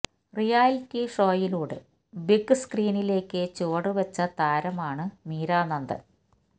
reality ഷോയിലൂടെ big സ്ക്രീനിലേയ്ക്ക് ചുവടു വച്ച താരമാണ് മീര നന്ദന്